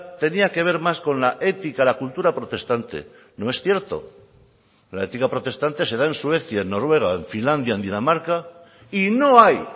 tenía que ver más con la ética la cultura protestante no es cierto la ética protestante se da en suecia en noruega en finlandia en dinamarca y no hay